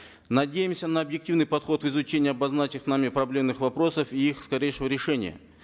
надеемся на объективный подход в изучении обозначенных нами проблемных вопросов и их скорейшего решения